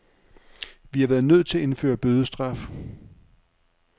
Vi har været nødt til at indføre bødestraf.